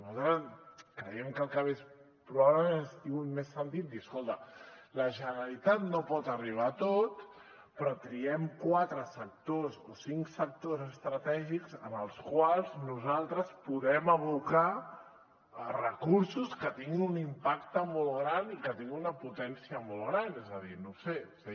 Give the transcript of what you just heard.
nosaltres creiem que el canvi probablement hagués tingut més sentit dir escolta la generalitat no pot arribar a tot però triem quatre sectors o cinc sectors estratègics en els quals nosaltres podem abocar recursos que tinguin un impacte molt gran i que tinguin una potència molt gran és a dir no sé